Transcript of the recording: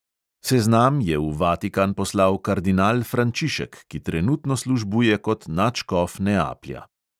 Seznam je v vatikan poslal kardinal frančišek, ki trenutno službuje kot nadškof neaplja.